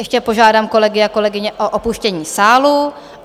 Ještě požádám kolegy a kolegyně o opuštění sálu.